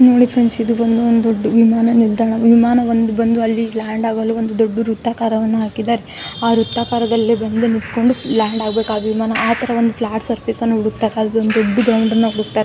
ನೋಡಿ ಫ್ರೆಂಡ್ಸ್ ಇದು ಬಂದು ಒಂದು ವಿಮಾನ ನಿಲ್ದಾಣ ವಿಮಾನ ಬಂದು ಅಲ್ಲಿ ಲ್ಯಾಂಡ್ ಆಗಲು ಒಂದು ದೊಡ್ಡ ವೃತ್ತಾಕಾರವನ್ನು ಹಾಕಿದಾರೆ ಆ ವೃತ್ತಾಕಾರದಲ್ಲಿ ಬಂದು ನಿತ್ಕೊಂಡು ಲ್ಯಾಂಡ್ ಆಗಬೇಕು ಆ ವಿಮಾನ ಆಥರ ಒಂದು ಫ್ಲಾಟ್ ಸರ್ಫೇಸ್ಅನ್ನು ವೃತ್ತಾಕಾರದ ದೊಡ್ಡ ಗ್ರೌಂಡನ್ನ ಹುಡುಕ್ಕತ್ತಾರೆ .